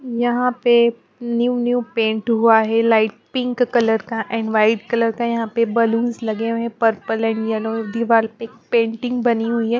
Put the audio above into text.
यहाँ पे new new paint हुआ है लाइट पिंक कलर का एंड वाइट कलर का यहाँ पे बालूंस लगे हुए हैं पर्पल एंड येल्लो दिवाल प एक पेंटिंग बनी हुई है ।